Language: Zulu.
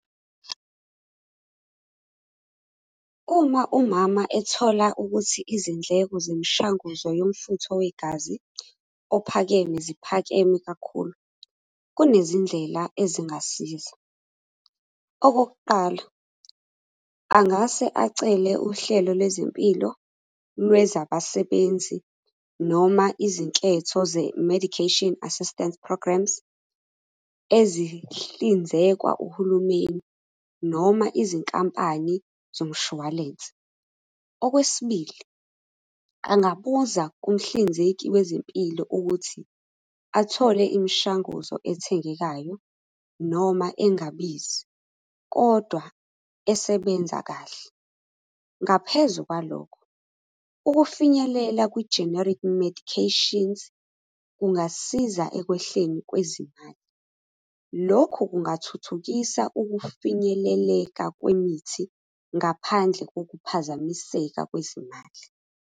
Uma umama ethola ukuthi izindleko zemishanguzo yomfutho wegazi ophakeme ziphakeme kakhulu, kunezindlela ezingasiza. Okokuqala, angase acele uhlelo lwezempilo lwezabasebenzi noma izinketho ze-medication assistence programs, ezihlinzekwa uhulumeni noma izinkampani zomshwalense. Okwesibili, angabuza kumhlinzeki wezempilo ukuthi athole imishanguzo ethengekayo noma engabizi, kodwa esebenza kahle. Ngaphezu kwalokho, ukufinyelela kwi-generic medications, kungasiza ekwehleni kwezimali. Lokhu kungathuthukisa ukufinyeleleka kwemithi ngaphandle kokuphazamiseka kwezimali.